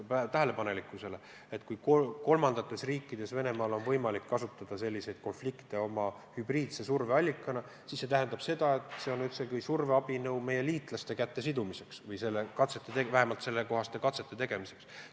Kui Venemaal on võimalik kolmandates riikides kasutada selliseid konflikte oma hübriidse surveallikana, siis see on otsekui surveabinõu meie liitlaste käte sidumiseks või vähemalt sellekohaste katsete tegemiseks.